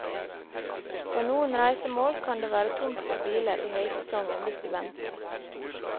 På noen reisemål kan det være tomt for biler i høysesongen hvis du venter.